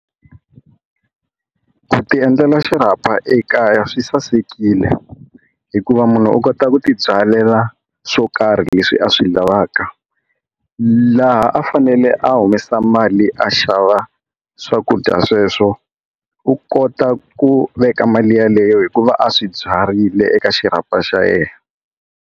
Ku ti endlela xirhapa ekaya swi sasekile hikuva munhu u kota ku tibyalela swo karhi leswi a swi lavaka laha a fanele a humesa mali a xava swakudya sweswo u kota ku veka mali yeleyo hikuva a swibyarile eka xirhapa xa yena.